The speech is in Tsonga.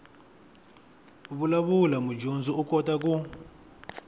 vulavula mudyondzi u kota ku